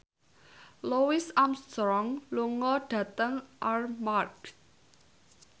Louis Armstrong lunga dhateng Armargh